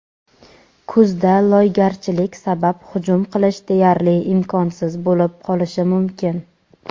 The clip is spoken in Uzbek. Kuzda loygarchilik sabab hujum qilish deyarli imkonsiz bo‘lib qolishi mumkin.